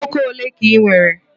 Ụmụ nwoke ole ka ị nwere?